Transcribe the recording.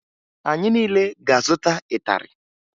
Anyị niile ga-azụta ịtarị